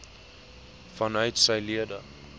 vanuit sy lede